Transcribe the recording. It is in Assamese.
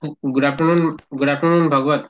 good afternoon good afternoon Bhagavat